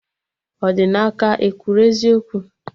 Odinaka ekwuru eziokwu?